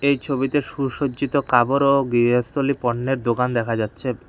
এই ছবিতে সুসজ্জিত কাপড় ও গৃহস্থলি পণ্যের দোকান দেখা যাচ্ছে।